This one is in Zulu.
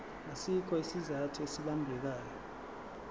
asikho isizathu esibambekayo